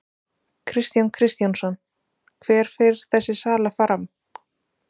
Kristján Kristjánsson: Hver fer þessi sala fram?